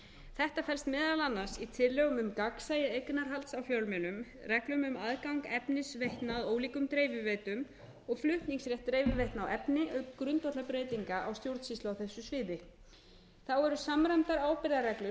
þetta felst meðal annars í tillögum um gagnsæi eignarhald á fjölmiðlum reglum um aðgang efnis veitna ólíkum dreifiveitum og flutningsrétt dreifiveitna á efni auk grundvallarbreytinga á stjórnsýslu á þessu sviði þá eru samræmdar ábyrgðarreglur fyrir